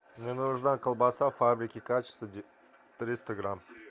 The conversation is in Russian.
мне нужна колбаса фабрики качество триста грамм